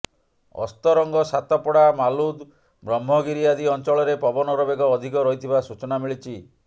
ଅସ୍ଥରଂଗ ସାତପଡା ମାଲୁଦ ବ୍ରହ୍ମଗିରି ଆଦି ଅଞ୍ଚଳରେ ପବନର ବେଗ ଅଧିକ ରହିଥିବା ସୂଚନା ମିଳିଛି